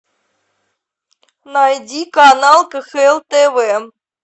найди канал кхл тв